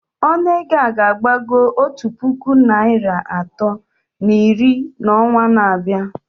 Ọnụ ego a ga-agbago otu puku naịra atọ na iri n'ọnwa na-abịa